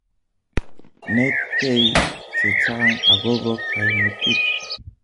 Netkei chechang akobo kaimutik